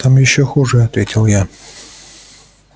там ещё хуже ответил я